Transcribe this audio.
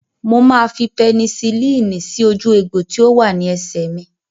Mo máa fi pẹnisilínì sí ojú egbò tí ó wà ní ẹsẹ̀ mi